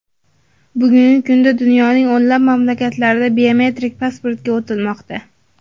Bugungi kunda dunyoning o‘nlab mamlakatlarida biometrik pasportga o‘tilmoqda.